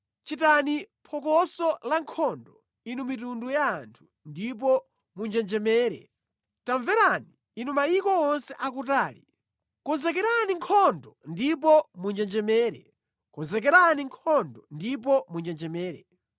Chitani phokoso lankhondo, inu mitundu ya anthu, ndipo munjenjemere! Tamverani, inu mayiko onse akutali. Konzekerani nkhondo ndipo munjenjemere! Konzekerani nkhondo ndipo munjenjemere!